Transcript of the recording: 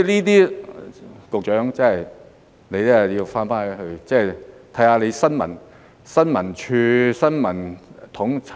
所以，局長真的要回去檢視你的新聞統籌......